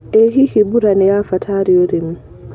ĩ hihi mbura nĩ ya bata harĩ ũrĩmi.